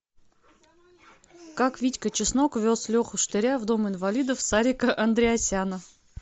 как витька чеснок вез леху штыря в дом инвалидов сарика андреасяна